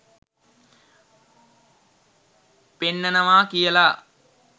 පෙන්නනවා කියලා.